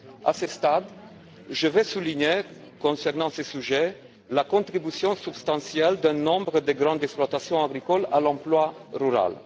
À ce stade, je veux souligner, concernant ce sujet, la contribution substantielle de nombreuses grandes exploitations agricoles à l'emploi rural.